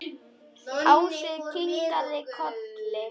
Ási kinkaði kolli.